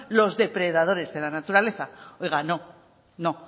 los depredadores de la naturaleza oiga no no